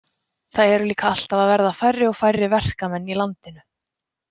Það eru líka alltaf að verða færri og færri verkamenn í landinu.